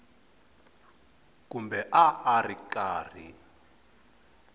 kumbe a a ri karhi